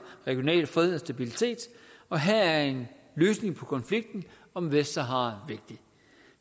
regional fred og stabilitet og her er en løsning på konflikten om vestsahara vigtig